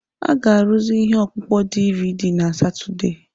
A ga-arụzi ihe ọkpụkpọ DiiViiDi na Satọde.